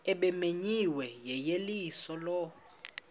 ebimenyiwe yeyeliso lo